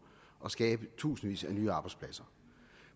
og skabe tusindvis af nye arbejdspladser